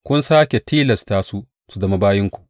Kun sāke tilasta su su zama bayinku.